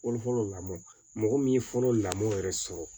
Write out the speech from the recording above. Fɔlɔ fɔlɔ lamɔn mɔgɔ min ye fɔlɔ lamɔn yɛrɛ sɔrɔ